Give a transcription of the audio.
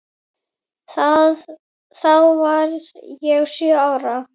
Þá var ég sjö ára.